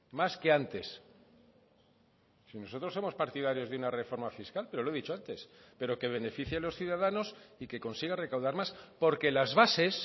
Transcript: más que antes si nosotros somos partidarios de una reforma fiscal pero lo he dicho antes pero que beneficie a los ciudadanos y que consiga recaudar más porque las bases